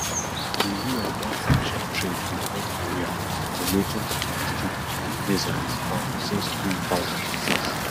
di U.N don sanction trade wit north korea um relating to ballistic missiles um since two thousand and six